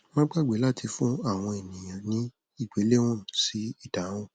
má gbàgbé láti fún àwọn ènìyàn ní ìgbéléwọn sí ìdáhùn